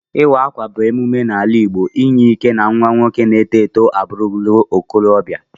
Iwa akwa bu ememe ala igbo inye ike na nwa nwoke na eto eto aburula okorobia.